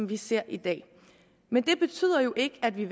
vi ser i dag men det betyder jo ikke at vi